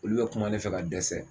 Olu be kuma ne fɛ ka dɛsɛ